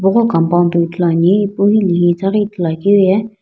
tipaqo compound toi ithuluani ipu hilehi itaghi ithulu akeu ye.